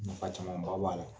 Nafa caman ba b'a la.